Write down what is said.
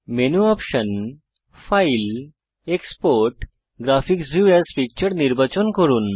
menu option file export graphics view AS picture নির্বাচন করুন